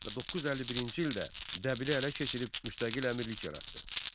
Və 951-ci ildə Dəbili ələ keçirib müstəqil əmirlik yaratdı.